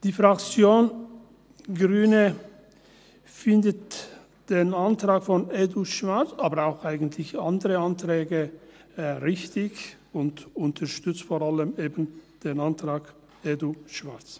Die Fraktion Grüne findet den Antrag EDU/Schwarz aber eigentlich auch andere Anträge richtig und unterstützt vor allem eben den Antrag EDU/Schwarz.